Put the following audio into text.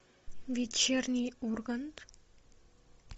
вечерний ургант